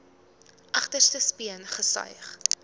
agterste speen gesuig